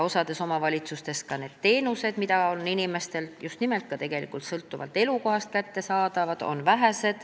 Osas omavalitsustes on vähe ka neid teenuseid, mis on inimestele sõltuvalt elukohast kättesaadavad.